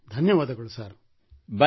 ಧನ್ಯವಾದ sir thank you sir